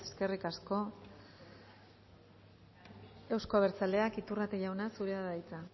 eskerrik asko euzko abertzaleak iturrate jauna zurea da hitza